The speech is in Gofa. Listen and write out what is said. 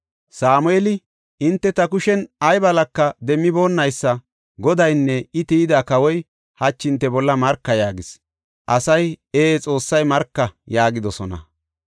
Sameeli, “Hinte ta kushen ay balaka demmiboonaysa Godaynne I tiyida kawoy hachi hinte bolla marka” yaagis. Asay, “Ee, Xoossay marka” yaagidosona.